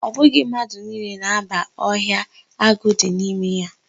Ọ bụghị mmadụ niile na-aba ọhịa agụ dị n'ime ya.